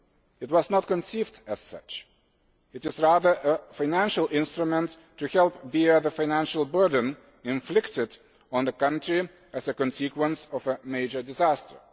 It was not conceived as such but is rather a financial instrument to help bear the financial burden inflicted on the country as a consequence of a major disaster.